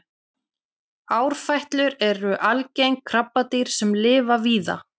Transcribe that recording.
árfætlur eru algeng krabbadýr sem lifa víða